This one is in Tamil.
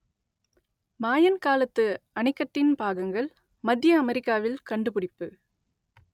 மாயன் காலத்து அணைக்கட்டின் பாகங்கள் மத்திய அமெரிக்காவில் கண்டுபிடிப்பு